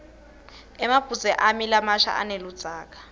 emabhudze ami lamasha aneludzaka